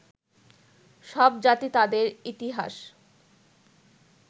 সব জাতি তাদের ইতিহাস